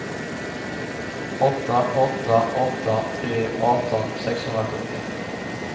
åtta åtta åtta tre arton sexhundrasjuttio